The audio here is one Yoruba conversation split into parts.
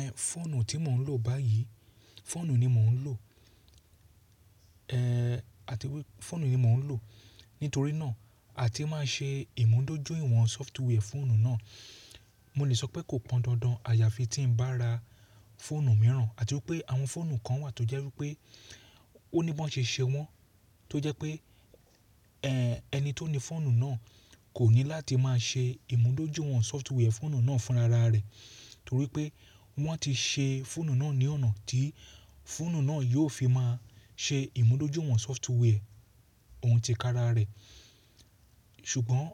Ẹ̀ fọ́ọ̀nù tí mò ń lò báyìí, fọ́ọ̀nù ni mò ń lò. Ẹ̀ àti wípé fọ́ọ̀nù ni mò ń lò. Nítorí náà, àti máa ṣe ìmúdójúìwọ̀n sọftiwẹ́ẹ̀ fọ́ọ̀nù náà, mo lè sọ pé kò pọn dandan àyaàfi tí ń bá ra foonù mìíràn àti wípé àwọn foonù kan wà tó jẹ́ wípé ó ní bí wọ́n ṣe ṣe wọ́n tó jẹ́ pé ẹ̀ ẹni tó ni foonù náà kò ní láti máa ṣe ìmúdójúìwọ̀n sọftiwẹ́ẹ̀ fọ́ọ̀nù náà fún ra rà rẹ̀ torí pé wọ́n ti ṣe foonù náà ní ọ̀nà tí foonù náà yóò fi máa ṣe ìmúdójúìwọ̀n sọftiwẹ́ẹ̀ ohun ti kara rẹ̀. Ṣùgbọ́n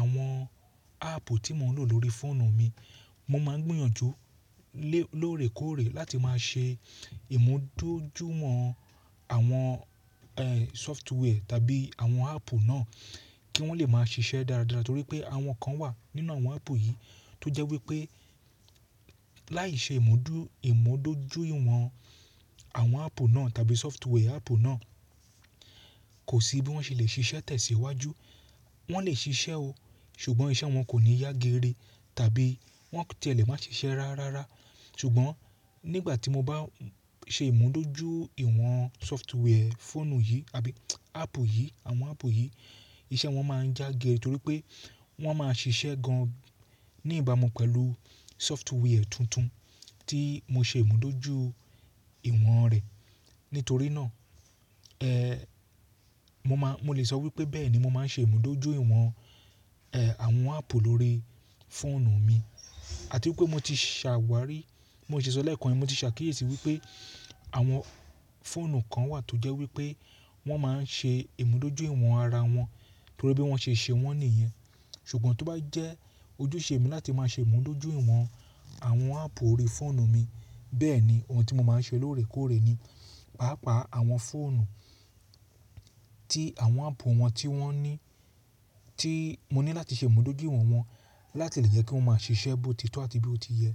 àwọn áàpù tí mò ń lò lórí fọ́ọ̀nù mi, mo máa ń gbiyanjú lé lóòrèkóòrè láti máa ṣe ìmúdójúìwọ̀n àwọn ẹ̀ sọftiwẹ́ẹ̀ tàbí àwọn áàpù náà kí wọ́n lè máa ṣiṣẹ́ dáradára torí pé àwọn kan wà nínú àwọn áàpù yìí tó jẹ́ wípé láì ṣe ìmúdò ìmúdójúìwọ̀n àwọn áàpù náà tàbí sọftiwẹ́ẹ̀ áàpù náà kò sí bí wọ́n ṣe lè ṣiṣẹ́ tẹ̀síwájú. Wọ́n lè ṣiṣẹ́ o, ṣùgbọ́n iṣẹ́ wọn kò ní yá géèrè tàbí wọ́n ò tí ẹ lè máa ṣiṣẹ́ rárárá. Ṣùgbọ́n nígbà tí mo bá ṣe ìmúdójúìwọ̀n sọftiwẹ́ẹ̀ foonù yìí àbí áàpù yìí àwọn áàpù yìí iṣẹ́ wọn máa ń já gé torí pé wọ́n máa ṣiṣẹ́ gan ní ìbámu pẹ̀lú sọftiwẹ́ẹ̀ tuntun tí mo ṣe ìmúdójú ìwọ̀n rẹ̀. Nítorí náà, ẹ̀ mo má mo lè sọ wípé bẹ́ẹ̀ ni mo máa ń ṣe ìmúdójúìwọ̀n ẹ̀ àwọn áàpù lórí fọ́ọ̀nù mi. Àti wípé mo ti ṣàwárí, bi mo ti ṣo lẹ́ẹ̀kan, mo ti ṣàkíyèsí wípé àwọn foonù kan wà tó jẹ́ wípé wọ́n máa ń ṣe ìmúdójúìwọ̀n ara wọn torí bí wọ́n ṣe ṣe wọ́n nìyẹn. Ṣùgbọ́n tó bá jẹ́ ojúṣe mi láti máa ṣe ìmúdójúìwọ̀n àwọn áàpù orí foonù mi, bẹ́ẹ̀ ni ohun tí mo máa ń ṣe lóòrèkóòrè ni. Páápàá àwọn foonù tí àwọn áàpù wọn tí wọ́n ní tí mo ní láti ṣe ìmúdójúìwọ̀n wọn láti lè jẹ́ kí wọ́n máa ṣiṣẹ́ bó ti tọ́ àti bí ó ti yẹ.